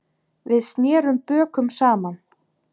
Við snerum bökum saman.